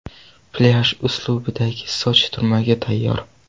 Plyaj uslubidagi soch turmagi tayyor!